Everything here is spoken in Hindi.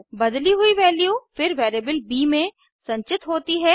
बदली हुई वैल्यू फिर वेरिएबल ब में संचित होती है